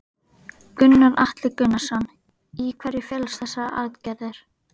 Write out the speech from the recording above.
Gunnar Atli Gunnarsson: Í hverju felast þessa aðgerðir?